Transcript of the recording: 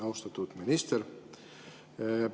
Austatud minister!